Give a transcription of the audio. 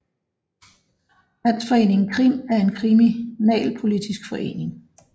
Landsforeningen KRIM er en kriminalpolitisk forening